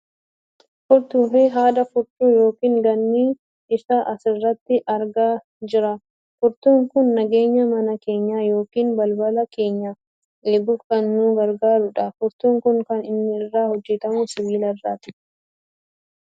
furtuufi haadha furcuu yookaan gaanii isaa asirratti argaa jirra. Furtuun kun nageenya mana keenyaa yookaan balbala keenyaa eeguuf kan nu gargaaru dha. furtuun kun kan inni irraa hojjatamu sibiila irraati.